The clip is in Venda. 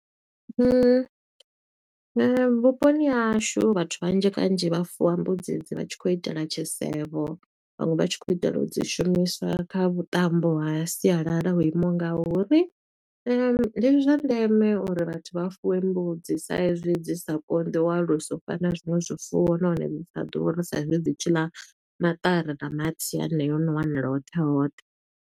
Vhuponi ha hashu vhathu vhanzhi kanzhi vha fuwa mbudzi e dzi vha tshi khou itela tshisevho, vhaṅwe vha tshi khou itela u dzi shumiswa kha vhuṱambo ha sialala ho imaho nga uri. Ndi zwa ndeme uri vhathu vha fuwe mbudzi, sa i zwi dzi sa konḓi u alusa u fana zwiṅwe zwifuwo nahone dzi sa ḓuri sa i zwi dzi tshi ḽa maṱari, na mahatsi haneyo o no wanala hoṱhe hoṱhe.